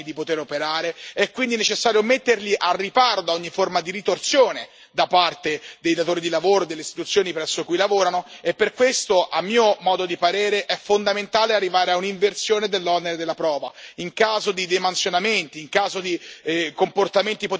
È quindi necessario garantire la possibilità, anche per gli informatori anonimi, di poter operare, è quindi necessario metterli al riparo da ogni forma di ritorsione da parte dei datori di lavoro e delle istituzioni presso cui lavorano, e per questo, a mio modo di vedere, è fondamentale arrivare a un'inversione dell'onere della prova.